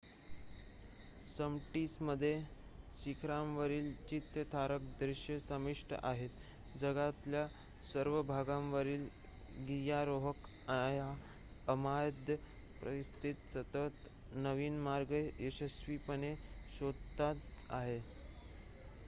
समिट्समध्ये शिखरांवरील चित्तथरारक दृश्ये समाविष्ट आहेत जगातल्या सर्व भागांवरील गिर्यारोहक या अमर्याद परिसरात सतत नवीन मार्ग यशस्वीपणे शोधत आहेत